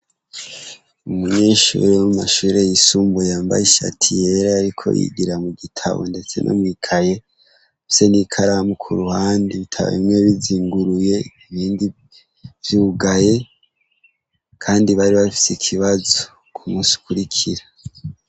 Umunyeshure wo mu mashure yisumbuye, yambaye ishati yera, yariko yigira mu gitabo ndetse no mw'ikaye, afise n'ikaramu ku ruhande, ibitabo bimwe bizinguruye ibindi vyugaye, kandi bari bafise ikibazo ku munsi ukurikira.